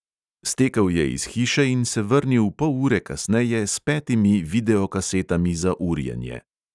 Stekel je iz hiše in se vrnil pol ure kasneje s petimi videokasetami za urjenje.